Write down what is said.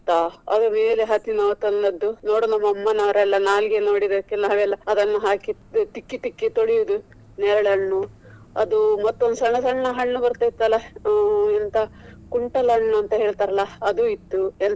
ಅದು ಬೇರೆ ಹತ್ತಿ ನಾವು ತಂದದ್ದು. ನೋಡು ನಮ್ಮ ಅಮ್ಮ ನವರು ನಾಲ್ಗೆ ನೋಡಿದ್ದಕ್ಕೆ ನಾವೆಲ್ಲ ಅದನ್ನು ಹಾಕಿ ತಿಕ್ಕಿ ತಿಕ್ಕಿ ತೊಳೆಯುದು ನೆರಳೆ ಹಣ್ಣು ಅದು ಮತ್ತೊಂದ್ ಸಣ್ಣ ಸಣ್ಣ ಹಣ್ಣು ಬರ್ತಿತ್ತಲ್ಲ ಅ ಎಂತ ಕುಂಟಲ ಹಣ್ಣು ಅಂತ ಹೇಳ್ತಾರಲ್ಲ ಅದು ಇತ್ತು ಎಂಥ.